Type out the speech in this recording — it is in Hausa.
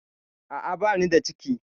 A'a, bani da cikin.